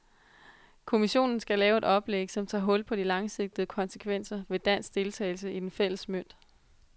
Kommissionen skal lave et oplæg, som tager hul på de langsigtede konsekvenser ved dansk deltagelse i den fælles mønt.